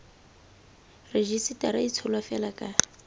rejisetara e tsholwa fela ka